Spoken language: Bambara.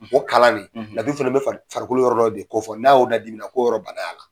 O kalan nin fana bɛ fari farikolo yɔrɔ dɔ de ko fɔ, n'a y'o ladimina , ko yɔrɔ y'a la.